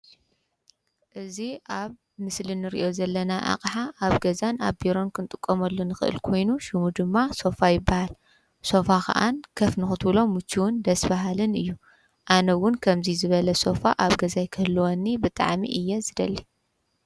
እዚ ኣብዚ ምስል እንርእዮ ዘለና ኣቕሓ ኣብ ገዛን ኣብ ቢሮን ክንጥቆመሉ ንኽእል ኮይኑ ሹሙ ድማ ሶፋ ይበሃል። ሶፋ ኸዓ ከፍ ንኹትብሎ ምችውን ደስ በሃልን እዩ። ኣነውን ከምዙይ ዝበለ ሶፋ ኣብ ገዛይ ክህልወኒ ብጣዕሚ እየ ዝደሊ።